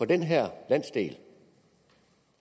den her landsdel